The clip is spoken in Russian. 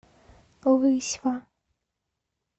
лысьва